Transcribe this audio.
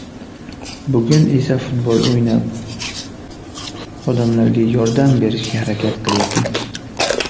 Bugun esa futbol o‘ynab, odamlarga yordam berishga harakat qilyapman.